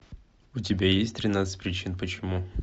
у тебя есть тринадцать причин почему